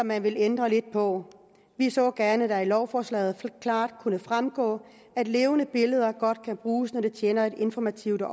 man vil ændre lidt på vi så gerne at det af lovforslaget klart kunne fremgå at levende billeder godt kan bruges når det tjener et informativt